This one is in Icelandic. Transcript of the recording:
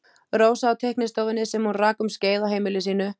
Rósa á teiknistofunni sem hún rak um skeið á heimili sínu.